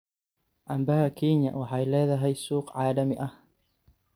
Canbaha Kenya waxay leedahay suuq caalami ah.